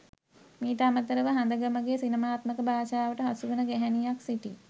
මීට අමතරව හඳගමගේ සිනමාත්මක භාෂාවට හසුවන ගැහැණියක් සිටී.